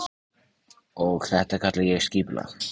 Og þetta kalla ég skipulag.